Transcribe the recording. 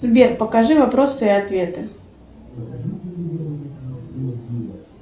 сбер покажи вопросы и ответы